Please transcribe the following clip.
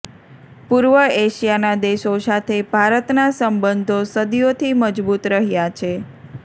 પૂર્વ એશિયાના દેશો સાથે ભારતના સંબંધો સદીઓથી મજબૂત રહ્યાં છે